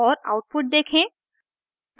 और आउटपुट देखें